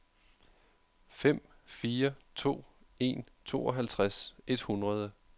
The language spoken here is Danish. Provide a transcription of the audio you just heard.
fem fire to en tooghalvtreds et hundrede